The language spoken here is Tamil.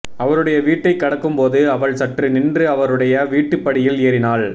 அவருடைய வீட்டைக் கடக்கும்போது அவள் சற்று நின்று அவருடைய வீட்டுப்படியில் ஏறினாள்